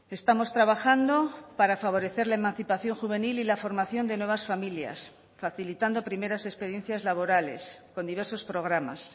estamos trabajando para favorecer la emancipación juvenil y la formación de nuevas familias facilitando primeras experiencias laborales con diversos programas